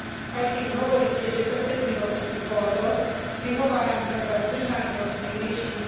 Aj keď hovoríte, že trpezlivosti už bolo dosť, prihováram sa zdržanlivosť pri riešení